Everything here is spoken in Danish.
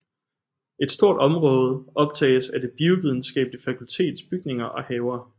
Et stort område optages af Det Biovidenskabelige Fakultets bygninger og haver